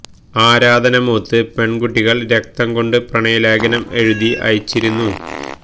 ആരാധന മൂത്ത് പെണ്കുട്ടികല് രക്തം കൊണ്ട് പ്രണയ ലേഖനം എഴുതി അയച്ചിരുന്നു